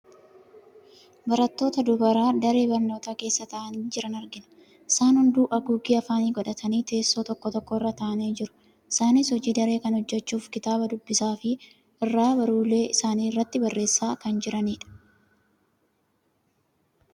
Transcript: Barattoota dubaraa daree barnootaa keessa taa'anii jiran argina. Isaan hunduu haguuggii afaanii godhatanii teessoo toko tokko irra taa'anii jiru. Isaanis hojii daree kan hojjachuuf kitaaba dubbisaafi irraa baruullee isaaniirratti barreessaa kan jiranidha.